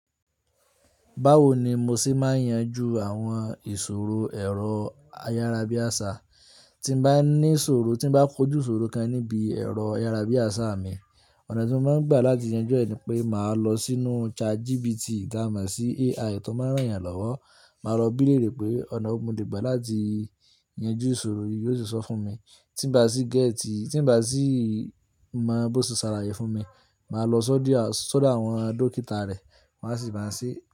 Báwo ni mo ṣe máa yanjú àwọn ìṣòro ẹ̀rọ ayárabíàṣá, tí mo bá ní ìṣòro, tí mo bá kojú ìṣòro kan níbi ẹ̀rọ ayárabíàṣá mi, ọ̀nà tí mo máa ń gbà láti yanjú ẹ̀ ni pé màá lọ sínú ChatGPT, tá mo sí AI tó máa ń rán yàn lọ́wọ́. Màá lọ bí lẹ̀rẹ̀ pé ọ̀nà wò mo lè gbà láti yanjú ìṣòro yìí, yóò sì sọ fún mi. Tí m bá sì géètì, tí m bá sì mọ bí ó ṣe ṣàlàyé fún mi, màá lọ sọ́díà, sọ́dọ̀ àwọn dókítà rẹ̀, wọ́n á sì bá mi ṣe.